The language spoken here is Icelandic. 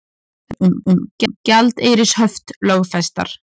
Reglur um gjaldeyrishöft lögfestar